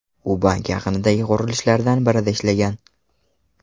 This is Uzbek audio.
U bank yaqinidagi qurilishlardan birida ishlagan.